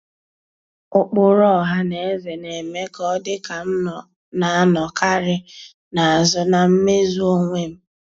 Ụkpụrụ ọhanaeze na-eme ka ọ dị ka m na-anọkarị n'azụ na mmezu onwe m.